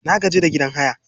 Na gaji da gidan haya